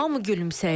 Hamı gülümsəyir.